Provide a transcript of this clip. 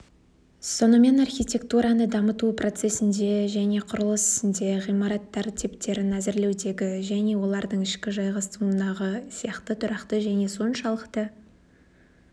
сонымен архитектураны дамыту процесінде және құрылыс ісінде ғимараттар типтерін әзірлеудегі және олардың ішкі жайғастыруындағы сияқты тұрақты және соншалықты